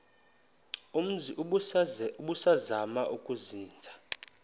umzi ubusazema ukuzinza